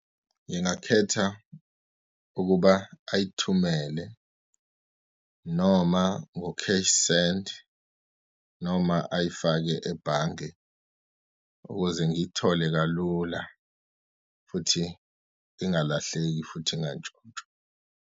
Ngingakhetha ukuba ayithumele noma ngo-Cashsend, noma ayifake ebhange ukuze ngiyithole kalula, futhi ingalahleki, futhi ingantshontshwa.